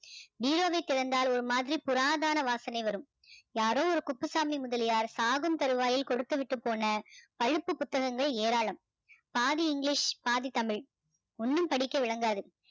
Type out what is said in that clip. பீரோவை திறந்தாள் ஒரு மாதிரி புராதான வாசம் வரும் யாரோ ஒரு குப்புசாமி முதலியார் சாகும் தருவாயில் கொடுத்து விட்டு போன பழுப்பு புத்தகங்கள் ஏராளம் பாதி english பாதி தமிழ் ஒண்ணும் படிக்க விளங்காது